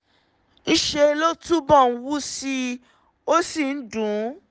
ńṣe ló túbọ̀ ń wú sí i ó ó sì ń dùn ún